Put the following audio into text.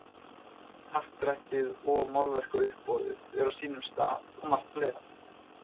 Happdrættið og málverkauppboðið er á sínum stað og margt fleira.